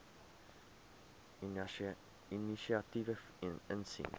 inisiatiewe insien